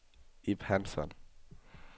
Ib Hansson